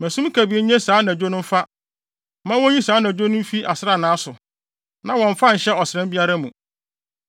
Ma sum kabii nnye saa anadwo no mfa; ma wonyi saa anadwo no mfi asranna so na wɔmmfa nhyɛ ɔsram biara mu.